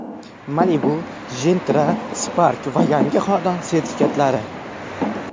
Malibu, Gentra, Spark va yangi xonadon sertifikatlari.